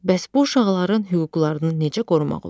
Bəs bu uşaqların hüquqlarını necə qorumaq olar?